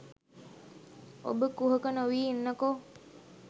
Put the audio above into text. ඔබ කුහක නොවී ඉන්නකෝ